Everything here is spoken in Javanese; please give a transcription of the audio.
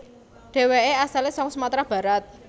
Deweke asale saka Sumatra Barat